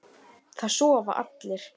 Það sofa allir.